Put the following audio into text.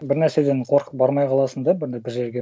бір нәрседен қорқып бармай қаласың да бір жерге